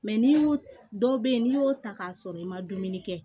Mɛ n'i y'o dɔw bɛ yen n'i y'o ta k'a sɔrɔ i ma dumuni kɛ